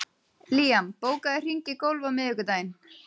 Liam, bókaðu hring í golf á miðvikudaginn.